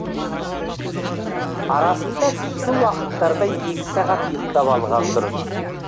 арасында түскі уақыттарда екі сағат ұйықтап алған дұрыс